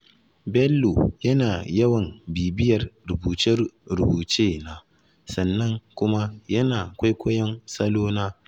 Bello yana yawan bibiyar rubuce-rubucena, sannan kuma yana kwaikwayon salona.